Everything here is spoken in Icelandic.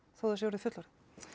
þó það sé orðið fullorðið